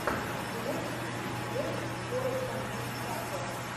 ты можешь включить видосик с форестом уитакером